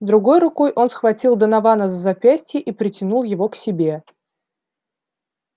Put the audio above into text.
другой рукой он схватил донована за запястье и притянул его к себе